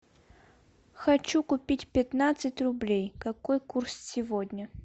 хочу купить пятнадцать рублей какой курс сегодня